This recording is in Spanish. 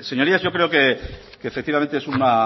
señorías yo creo que efectivamente es una